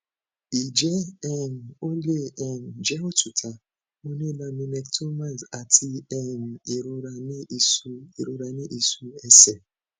ije um o le um je otuta mo ni laminectomies ati um irora ni isu irora ni isu ese